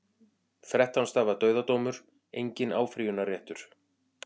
Þrettán stafa dauðadómur, enginn áfrýjunarréttur.